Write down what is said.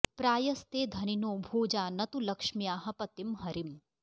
प्रायस्ते धनिनो भोजा न तु लक्ष्म्याः पतिं हरिम्